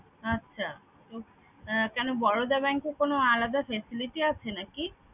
আচ্ছা। উহ কেন বরদা bank এ কোনো আলাদা facility আছে নাকি?